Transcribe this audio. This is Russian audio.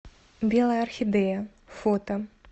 белая орхидея фото